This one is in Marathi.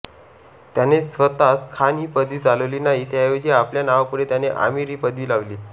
त्याने स्वतः खान ही पदवी चालवली नाही त्याऐवजी आपल्या नावापुढे त्याने आमीर ही पदवी लावली